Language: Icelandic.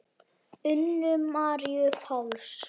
Unu Maríu Páls.